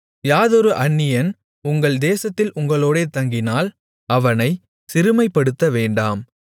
யாதொரு அந்நியன் உங்கள் தேசத்தில் உங்களோடே தங்கினால் அவனைச் சிறுமைப்படுத்தவேண்டாம்